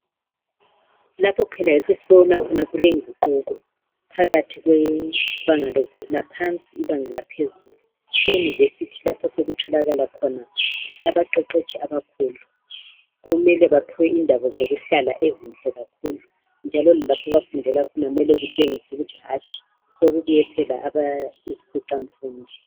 Lapho phela yikho esibona khona kulenguquko phakathi kwebanga laphansi ibanga laphezulu eyunivesithi lapho osokutholakala khona abaqeqetshi abakhulu kumele baphiwe indawo zokuhlala ezinhle kakhulu njalo lapho abafundela khona kumele kutshengise ukuthi hatshi sokubuye phela izikhwicamfundo.